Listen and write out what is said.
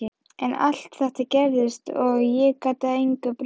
En allt þetta gerðist og ég gat engu breytt.